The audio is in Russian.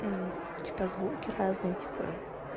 типа звуки разные типа